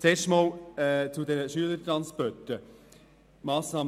Zuerst zu den Schülertransporten: